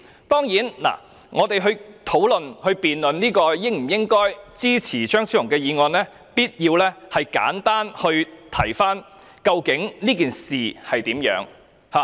當然，在討論、辯論應否支持張超雄議員的議案時，我們必須簡單回顧這件事的原委。